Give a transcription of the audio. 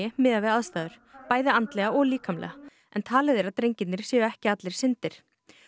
miðað við aðstæður bæði andlega og líkamlega en talið að drengirnir séu ekki allir syndir